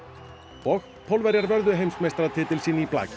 og Pólverjar vörðu heimsmeistaratitil sinn í blaki